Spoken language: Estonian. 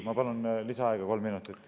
Ma palun lisaaega kolm minutit.